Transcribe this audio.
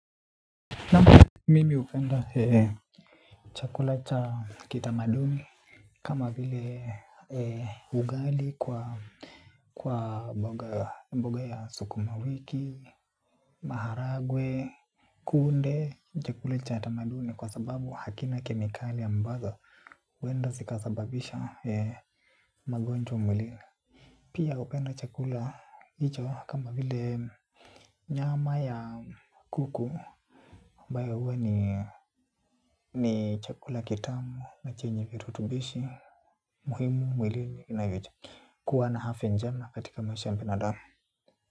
Naan mimi upenda hee chakula cha kitamaduni kama vile ugali kwa kwa mboga ya sukuma wiki. Maharagwe kunde chakula cha kitamaduni kwa sababu hakina kemikali ambazo huwenda zikasababisha magonjwa mwilini. Pia hupenda chakula hicho kama vile nyama ya kuku, ambayo huwa ni chakula kitamu na chenye virutubishi, muhimu, mwilini, na yutu. Kuwa na afy njema katika maisha ya binadamu.